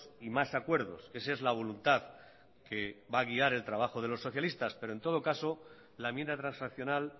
y más acuerdos esa es la voluntad que va a guiar el trabajo de los socialistas pero en todo caso la enmienda transaccional